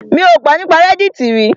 Mi ò gbọ́ nípa reddit rí.